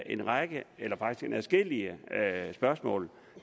en række eller faktisk adskillige spørgsmål